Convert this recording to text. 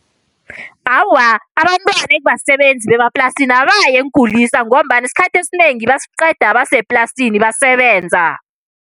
Awa, abantwana ekubasebenzi bemaplasini abayi eenkulisa ngombana isikhathi esinengi basiqeda baseplasini basebenza.